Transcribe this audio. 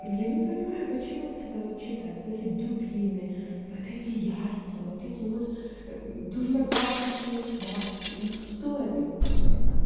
ну я не понимаю почему вот это вот читают вот эти дубины вот эти яйца вот эти вот дурно пахнущие смазки ну что это вообще